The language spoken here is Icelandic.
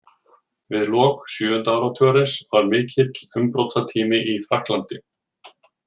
Við lok sjöunda áratugarins var mikill umbrotatími í Frakklandi.